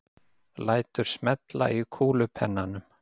Lætur smella í kúlupennanum.